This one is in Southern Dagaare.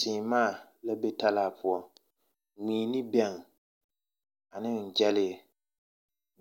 Seemaa la be talaa poɔ. Mui ne bɛŋ ane gyɛlee,